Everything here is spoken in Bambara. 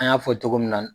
An y'a fɔ togo min na